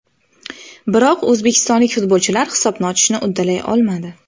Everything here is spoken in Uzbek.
Biroq o‘zbekistonlik futbolchilar hisobni ochishni uddalay olmadi.